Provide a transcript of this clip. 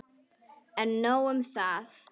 En nóg um það.